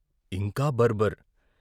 ఇంకా బర్ బర్ "